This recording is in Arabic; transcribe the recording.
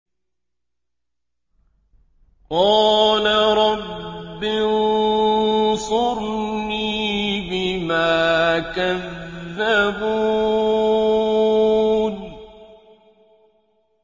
قَالَ رَبِّ انصُرْنِي بِمَا كَذَّبُونِ